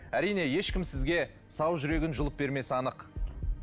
әрине ешкім сізге сау жүрегін жұлып бермесі анық